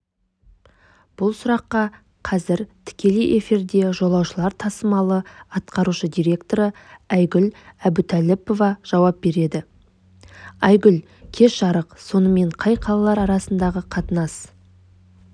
бұл сұраққа қазір тікелей эфирде жолаушылар тасымалы атқарушы директоры айгүл әбутәліпова жауап береді айгүл кеш жарық сонымен қай қалалар арасындағы қатынас